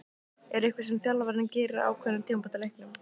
Er eitthvað sem þjálfarinn gerir á ákveðnum tímapunktum í leiknum?